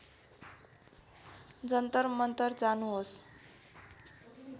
जन्तर मन्तर जानुहोस्